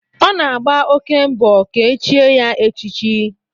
Ọ na-agba oké mbọ ka e chie ya echichi